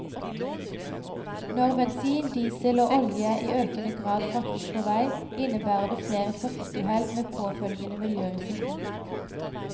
Når bensin, diesel og olje i økende grad fraktes på vei, innebærer det flere trafikkuhell, med påfølgende miljørisiko.